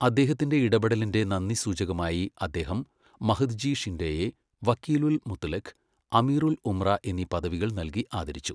അദ്ദേഹത്തിന്റെ ഇടപെടലിന്റെ നന്ദി സൂചകമായി അദ്ദേഹം മഹദ്ജി ഷിൻഡെയെ വക്കീലുൽ മുത്ലഖ്, അമീറുൽ ഉംറ എന്നീ പദവികൾ നൽകി ആദരിച്ചു.